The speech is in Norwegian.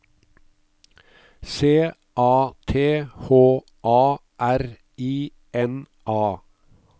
C A T H A R I N A